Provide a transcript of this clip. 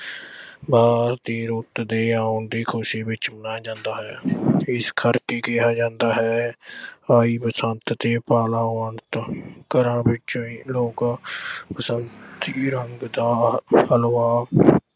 ਬਾਅਦ ਦੀ ਰੁੱਤ ਦੇ ਆਉਣ ਦੀ ਖੁਸ਼ੀ ਵਿੱਚ ਮਨਾਇਆ ਜਾਂਦਾ ਹੈ। ਇਸ ਕਰਕੇ ਕਿਹਾ ਜਾਂਦਾ ਹੈ, ਆਈ ਬਸੰਤ ਤੇ ਪਾਲਾ ਉਡੰਤ। ਘਰਾਂ ਵਿੱਚ ਲੋਕ ਬਸੰਤੀ ਰੰਗ ਦਾ ਹਲਵਾ